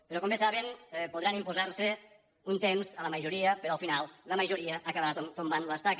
però com bé saben podran imposar se un temps a la majoria però al final la majoria acabarà tombant l’estaca